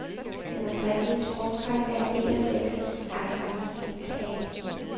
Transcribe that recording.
Den oprindelige sprogdragt er en del af tekstens aura, som en sagde.